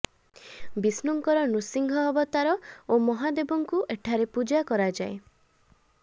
ବିଷ୍ଣୁଙ୍କର ନୃସିଂହ ଅବତାର ଓ ମହାଦେବଙ୍କୁ ଏଠାରେ ପୂଜା କରାଯାଏ